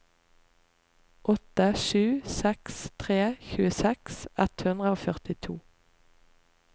åtte sju seks tre tjueseks ett hundre og førtito